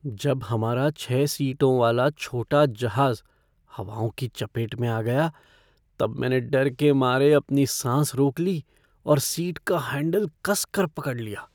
जब हमारा छः सीटों वाला छोटा जहाज हवाओं की चपेट में आ गया तब मैंने डर के मारे अपनी सांस रोक ली और सीट का हैंडल कस कर पकड़ लिया।